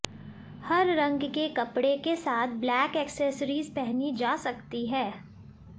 हर रंग के कपड़े के साथ ब्लैक एक्सेसरीज पहनी जा सकती है